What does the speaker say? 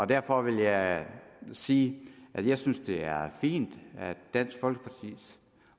derfor vil jeg sige at jeg synes det er fint at dansk folkepartis